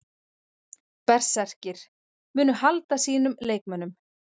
Berserkir: Munu halda sínum leikmönnum.